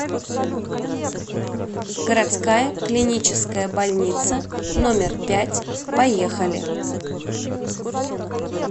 городская клиническая больница номер пять поехали